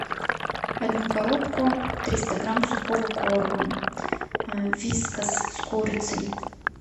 одну коробку триста грамм сухого корма вискас с курицей